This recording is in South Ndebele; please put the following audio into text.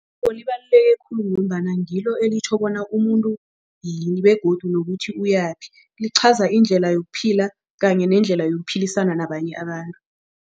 Libaluleke khulu ngombana ngilo elitjhoko bona umuntu yini begodu nokuthi uyakuphi lichaza indlela yokuphila kanye nendlela yokuphilisana nabanye abantu.